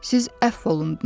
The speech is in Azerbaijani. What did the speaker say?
Siz əfv olundunuz.